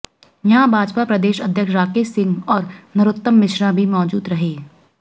यहां भाजपा प्रदेश अध्यक्ष राकेश सिंह और नरोत्तम मिश्रा भी मौजूद रहे